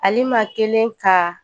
Halima kɛlen ka